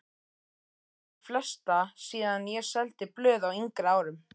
Kannaðist við flesta síðan ég seldi blöð á yngri árum.